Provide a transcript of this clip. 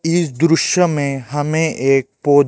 इस दृश्य में हमें एक बहोत--